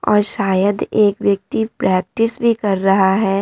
और शायद एक व्यक्ति प्रैक्टिस भी कर रहा है ।